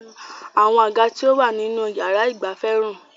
Àwọn àga tí ó wà nínú yàrá ìgbafẹ́ ń rùn.